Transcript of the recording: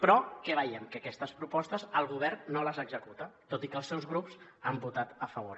però què veiem que aquestes propostes el govern no les executa tot i que els seus grups hi han votat a favor